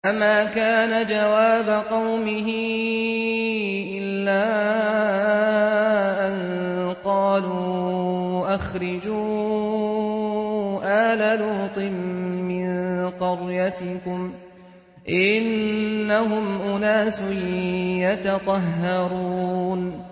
۞ فَمَا كَانَ جَوَابَ قَوْمِهِ إِلَّا أَن قَالُوا أَخْرِجُوا آلَ لُوطٍ مِّن قَرْيَتِكُمْ ۖ إِنَّهُمْ أُنَاسٌ يَتَطَهَّرُونَ